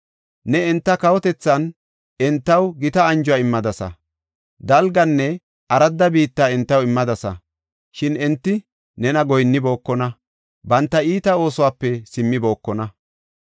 Ne enta kawotethan entaw gita anjuwa immadasa; dalganne aradda biitta entaw immadasa. Shin enti nena goyinnibookona; banta iita oosuwape simmibokona.